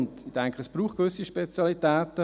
Ich denke, es braucht gewisse Spezialitäten.